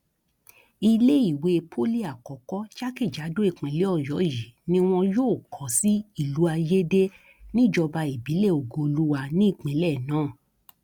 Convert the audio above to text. iléèwé pọlì àkọkọ jákèjádò ìpínlẹ ọyọ yìí ni wọn yóò kó sí ìlú ayéde níjọba ìbílẹ ògooluwa ní ìpínlẹ náà